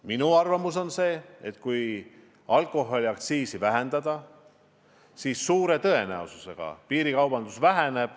Minu arvamus on see, et kui alkoholiaktsiisi vähendada, siis suure tõenäosusega piirikaubandus väheneb.